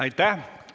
Aitäh!